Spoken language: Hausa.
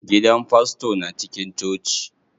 Gidan fasto na cikin coci.